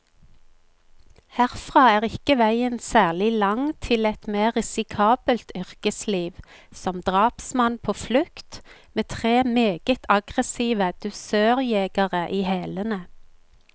Herfra er ikke veien særlig lang til et mer risikabelt yrkesliv, som drapsmann på flukt, med tre meget aggressive dusørjegere i hælene.